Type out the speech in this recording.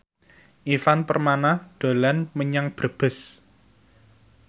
Ivan Permana dolan menyang Brebes